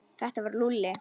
Þetta var Lúlli.